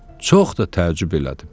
Çox da təəccüb elədim.